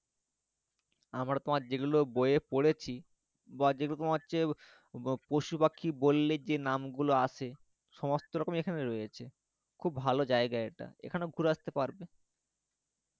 আমরা তোমার যেগুলো বই এ পড়েছি বা যেরকম হচ্ছে পশুপাখি বললে যে নামগুলো আসে সমস্ত রকম এখানে রয়েছে খুব ভালো জায়গা এটা এখানেও ঘুরে আস্তে পারবে